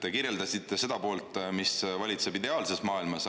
Te kirjeldasite seda poolt, mis valitseb ideaalses maailmas.